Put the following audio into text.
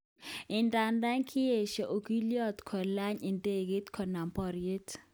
Idadan kiyesho okilyonon kolany idegeit konam boryet.